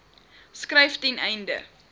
skryf ten einde